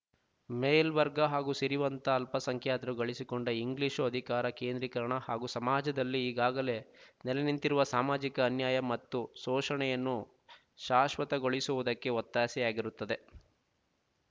ಮೇಲ್ವರ್ಗ ಹಾಗೂ ಸಿರಿವಂತ ಅಲ್ಪಸಂಖ್ಯಾತರು ಗಳಿಸಿಕೊಂಡ ಇಂಗ್ಲೀಷು ಅಧಿಕಾರ ಕೇಂದ್ರೀಕರಣ ಹಾಗೂ ಸಮಾಜದಲ್ಲಿ ಈಗಾಗಲೇ ನೆಲೆನಿಂತಿರುವ ಸಾಮಾಜಿಕ ಅನ್ಯಾಯ ಮತ್ತು ಸೋಶಣೆಯನ್ನು ಶಾಶ್ವತ ಗೊಳಿಸುವುದಕ್ಕೆ ಒತ್ತಾಸೆಯಾಗಿರುತ್ತದೆ